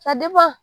Ka